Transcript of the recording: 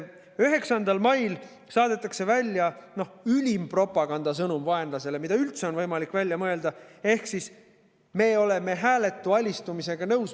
9. mail saadetakse vaenlasele välja ülim propagandasõnum, mida üldse on võimalik välja mõelda, ehk siis me oleme nõus hääletu alistumisega.